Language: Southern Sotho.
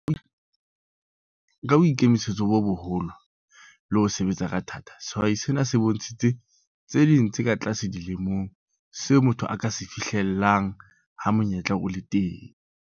Ka boikemisetso bo boholo le ho sebetsa ka thata, sehwai sena se bontshitse tse ding tse tlase dilemong seo motho a ka se fihlellang ha monyetla o le teng.